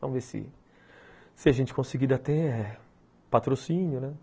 Vamos ver se a gente conseguir dar até patrocínio, né?